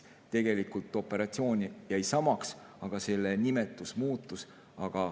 Tegelikult jäi operatsioon samaks, aga selle nimetus muutus.